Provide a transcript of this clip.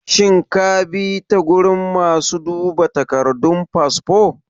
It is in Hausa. shin kabi ta gurin masu duba takardun fasfo?